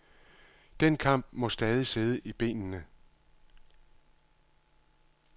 Den kamp må stadig sidde i benene.